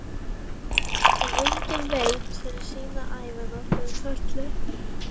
En enginn veit sína ævina fyrr en öll er.